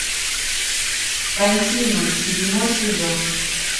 континуум седьмой сезон